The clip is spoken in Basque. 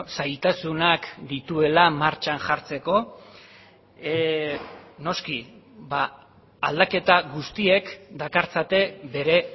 zailtasunak dituela martxan jartzeko noski aldaketa guztiek dakartzate bere